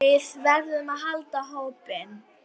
Og þá höfðu þau hlegið.